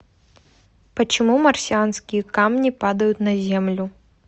почему марсианские камни падают на землю